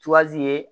ye